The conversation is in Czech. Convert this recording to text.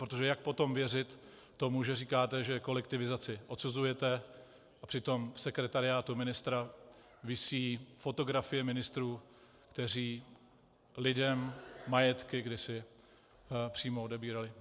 Protože jak potom věřit tomu, že říkáte, že kolektivizaci odsuzujete, a přitom v sekretariátu ministra visí fotografie ministrů, kteří lidem majetky kdysi přímo odebírali?